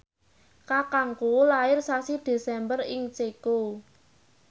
kakangku lair sasi Desember ing Ceko